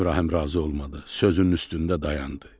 İbrahim razı olmadı, sözünün üstündə dayandı.